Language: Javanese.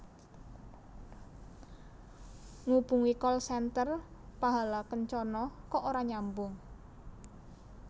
Ngubungi call center Pahala Kencana kok ora nyambung